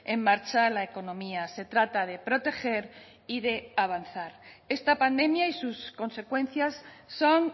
en marcha la economía se trata de proteger y de avanzar esta pandemia y sus consecuencias son